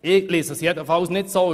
Ich lese dies jedenfalls nicht so.